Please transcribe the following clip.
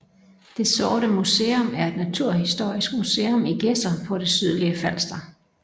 Det Sorte Museum er et naturhistorisk museum i Gedser på det sydligste Falster